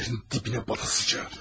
Yerin dibinə batasıca.